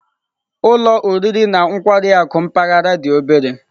Ụlọ oriri na ọṅụṅụ na nkwari akụ mpaghara dị obere